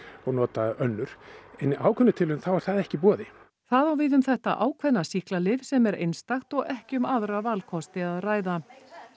og nota önnur en í ákveðnum tilvikum þá er það ekki í boði það á við um þetta ákveðna sýklalyf sem er einstakt og ekki um aðra valkosti að ræða